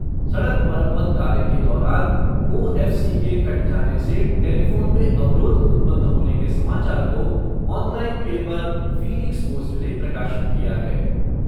सड़क मरम्मत कार्य के दौरान ओएफ़सी के कट जाने से टेलीफोन में अवरोध उत्पन्न होने के समाचार को ऑनलाइन पेपर, फ़ीनिक्स पोस्ट ने प्रकाशित किया है।